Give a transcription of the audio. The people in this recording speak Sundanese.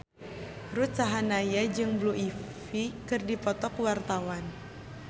Ruth Sahanaya jeung Blue Ivy keur dipoto ku wartawan